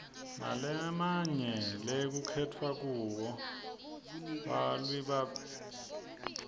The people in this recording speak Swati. nalemnye lekukhetwa kugo bawlilebapitambili